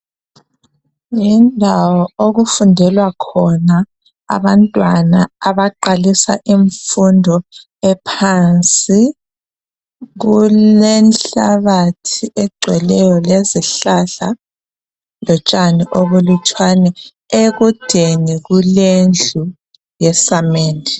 Yindawo okufundelwa khona abantwana abaqalisa imfundo ephansi kulenhlabathi egcweleyo lezihlahla lotshani obulutshwani ekudeni kulendlu yesamende.